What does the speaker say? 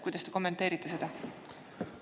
Kuidas te kommenteerite seda?